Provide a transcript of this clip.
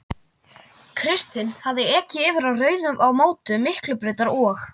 Kristinn hafði ekið yfir á rauðu á mótum Miklubrautar og